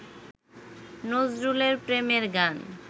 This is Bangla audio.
নজরুলের প্রেমের গান